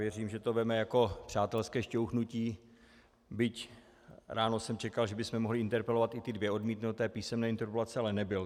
Věřím, že to vezme jako přátelské šťouchnutí, byť ráno jsem čekal, že bychom mohli interpelovat i ty dvě odmítnuté písemné interpelace, ale nebyl.